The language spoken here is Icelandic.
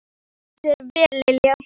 Þú stendur þig vel, Lilja!